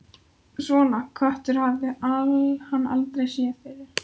Svona kött hafði hann aldrei séð fyrr.